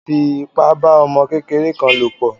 Táyé fi ipa bá ọmọ kékeré kan lò pọ̀.